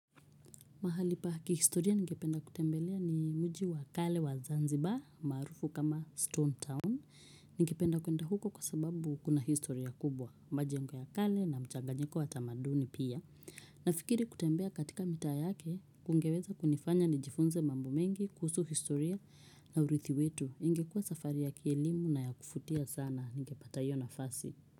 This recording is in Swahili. Mahali pa kihistoria ningependa kutembelea ni mji wa kale wa Zanzibar, maarufu kama Stone Town. Ningependa kwenda huko kwa sababu kuna historia kubwa, majengo ya kale na mchanganyiko wa tamaduni pia. Nafikiri kutembea katika mitaa yake, kungeweza kunifanya nijifunze mambo mengi, kuhusu historia na uridhi wetu. Ingekuwa safari ya kielimu na ya kuvutia sana, ningepata hiyo na fasi.